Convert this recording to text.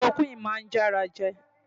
Kilorokúìnì máa ń já ara jẹ.